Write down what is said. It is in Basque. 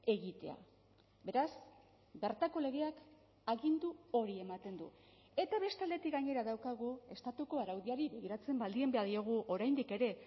egitea beraz bertako legeak agindu hori ematen du eta beste aldetik gainera daukagu estatuko araudiari begiratzen baldin badiogu oraindik ere